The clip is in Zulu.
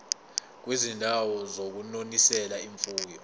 kwizindawo zokunonisela imfuyo